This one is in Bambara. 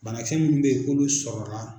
Banakisɛ minnu bɛyi k'olu sɔrɔla.